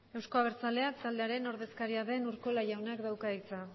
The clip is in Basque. euzko abertzaleak taldearen ordezkaria den urkola jaunak dauka hitza